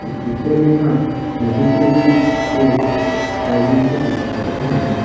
इस पिक्चर में हम नदी के बीच एक आयलैंड को देख सकते हैं।